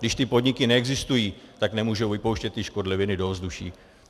Když ty podniky neexistují, tak nemůžou vypouštět ty škodliviny do ovzduší.